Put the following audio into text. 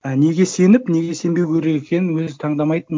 і неге сеніп неге сенбеу керек екенін өзі таңдамайтын